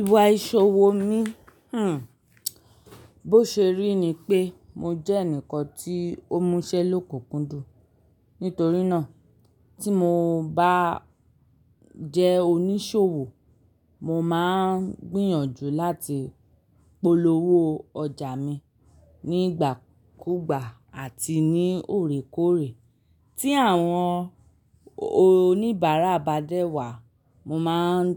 Ìwà ìṣòwò mi, hmmm, bó ṣe rí ni pé mo jẹ́ ẹnìkan tí ó múṣẹ́ lóko kùndùn. Nítorí náà tí mo bá jẹ́ oníṣòwò, mo máa ń gbìyànjú láti polówó ọjà mi nígbàkúgbà àti ní òrékòrè. Tí àwọn oníbàárà bá dẹ wà, mo máa ń